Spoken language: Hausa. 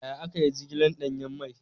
Yaya aka yi jigilar danyen mai?